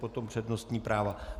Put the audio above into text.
Potom přednostní práva.